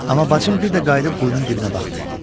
Amma bacım bir də qayıdıb quyunun dibinə baxdı.